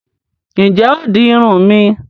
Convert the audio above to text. Ǹjẹ́ o óò di Irun mi?